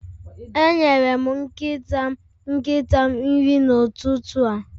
Enyere m nkịta nkịta m nri n'ụtụtụ a